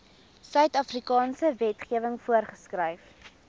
suidafrikaanse wetgewing voorgeskryf